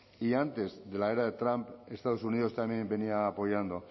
y antes de la era de trump estados unidos también venía apoyando